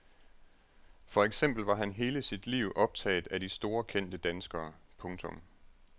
For eksempel var han hele sit liv vildt optaget af de store kendte danskere. punktum